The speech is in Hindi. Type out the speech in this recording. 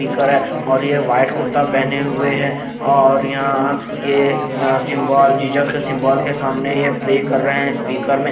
दिखा रहा है और ये व्हाइट कुर्ता पहने हुए है और यहां ये सिंबल जीसस के सिंबल के सामने ये प्रे कर रहे हैं स्पीकर में।